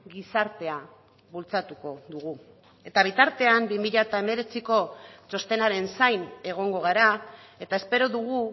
gizartea bultzatuko dugu eta bitartean bi mila hemeretziko txostenaren zain egongo gara eta espero dugu